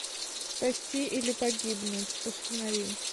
спасти или погибнуть установи